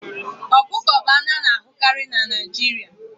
Okuko bụ anụ a na-ahụkarị na Naijiria